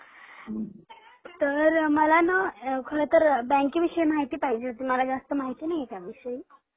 अ तर मला न खरतर बँकेविषयी माहिती पाहिजे होती मला जास्त माहिती नाही त्या विषयी.